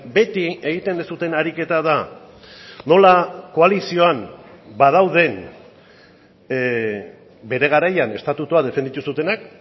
beti egiten duzuen ariketa da nola koalizioan badauden bere garaian estatutua defenditu zutenak